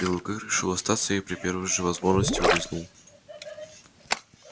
белый клык решил остаться и при первой же возможности улизнул